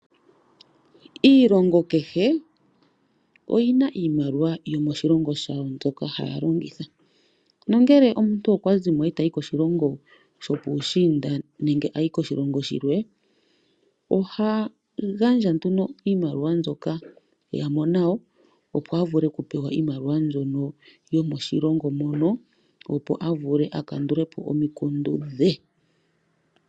Iilongo kehe oyi na iimaliwa yomoshilongo shawo mbyoka haya longitha. Ngele omuntu okwa zi mo e ta yi koshilongo shopuushiinda nenge koshilongo shilwe, oha gandja nduno iimaliwa mbyoka e ya mo nayo, opo a vule okupewa iimaliwa yomoshilongo moka, opo a vule a kandule po ominkundu dhe.